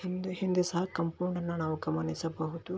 ಹಿಂದೆ ಹಿಂದೆ ಸಹ ಕಾಂಪೌಂಡ್ ಅನ್ನು ನಾವು ಗಮನಿಸಬಹುದು.